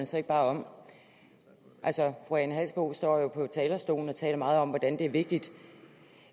så ikke bare om fru ane halsboe larsen står jo på talerstolen og taler meget om at det er vigtigt